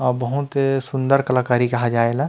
बहुत सूंदर कलाकारी कहा जाए ए ला--